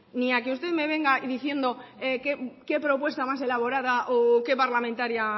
ni a que usted me venga y diciendo que propuesta más elaborada o que parlamentaria